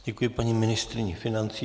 Děkuji paní ministryni financí.